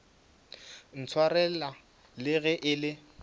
ntshwarela le ge e le